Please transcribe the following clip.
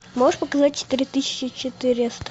можешь показать четыре тысячи четыреста